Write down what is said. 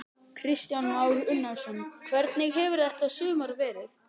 Kristján Már Unnarsson: Hvernig hefur þetta sumar verið?